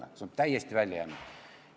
See aspekt on täiesti välja jäänud.